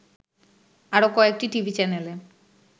আরো কয়েকটি টিভি চ্যানেলে